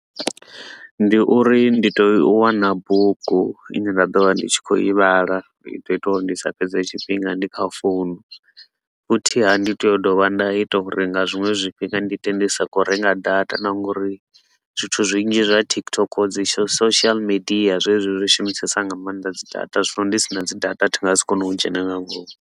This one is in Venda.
Ndi uri ndi tea u wana bugu i ne nda ḓo vha ndi tshi khou i vhala. I ḓo ita uri ndi sa fhedze tshifhinga ndi kha founu, futhi haa, ndi tea u dovha nda ita uri nga zwiṅwe zwifhinga ndi ite ndi sa khou renga data na nga uri zwithu zwinzhi zwa TikTok, dzi social media, zwezwi zwi shumisesa nga maanḓa dzi data. Zwino ndi si na dzi data ndi nga si kone u dzhena nga ngomu.